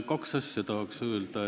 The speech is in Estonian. Kahte asja tahaks öelda.